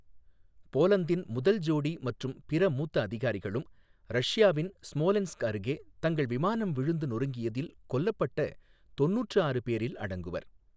போலந்தின் முதல் ஜோடி மற்றும் பிற மூத்த அதிகாரிகளும் ரஷ்யாவின் ஸ்மோலென்ஸ்க் அருகே தங்கள் விமானம் விழுந்து நொறுங்கியதில் கொல்லப்பட்ட தொண்ணூற்று ஆறு பேரில் அடங்குவர்.